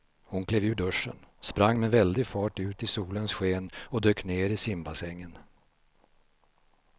Hon klev ur duschen, sprang med väldig fart ut i solens sken och dök ner i simbassängen.